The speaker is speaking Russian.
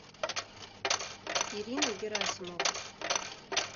ирину герасимову